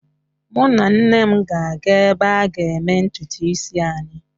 Mụ na nne m ga-aga ebe a ga eme ntutu isi anyị.